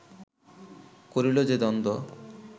করিল যে দ্বন্দ্ব